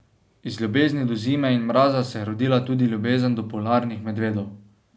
Iz ljubezni do zime in mraza se je rodila tudi ljubezen do polarnih medvedov.